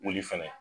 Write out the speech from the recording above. Wuli fɛnɛ